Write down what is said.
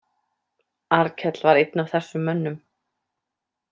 Arnkell var einn af þessum mönnum.